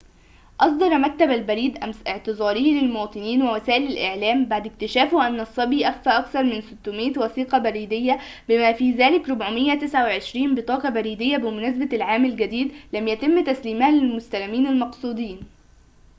أصدر مكتب البريد أمس اعتذاره للمواطنين ووسائل الإعلام بعد اكتشافه أن الصبي أخفى أكثر من 600 وثيقة بريدية بما في ذلك 429 بطاقة بريدية بمناسبة العام الجديد لم يتم تسليمها للمستلمين المقصودين